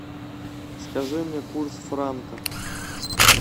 скажи мне курс франка